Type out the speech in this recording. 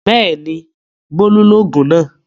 Bẹ́ẹ̀ni Bólú lògùn náà